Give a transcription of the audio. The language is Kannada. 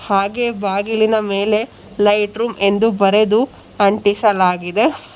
ಹಾಗೆ ಬಾಗಿಲಿನ ಮೇಲೆ ಲೈಟ್ ರೂಂ ಎಂದು ಬರೆದು ಅಂಟಿಸಲಾಗಿದೆ.